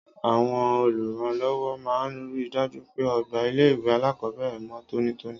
Àwon olùrànlówó máa n rí i dájú pé ogbà ilé ìwé alákòóbèrè mó tónítóní